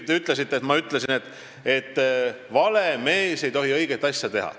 Te ütlesite, et ma olen öelnud, et vale mees ei tohi teha õiget asja.